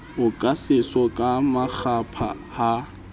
oka seso ka makgapha ha